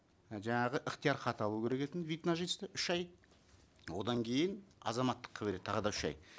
і жаңағы ықтиярхат алу керек екен вид на жительство үш ай одан кейін азаматтыққа береді тағы да үш ай